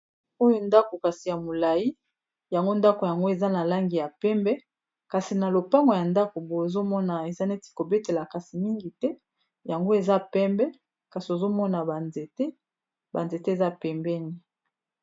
oyo ndako kasi ya molai yango ndako yango eza na langi ya pembe kasi na lopango ya ndako mbo ozomona eza neti kobetela kasi mingi te yango eza pembe kasi ozomona banzete banzete eza pembeni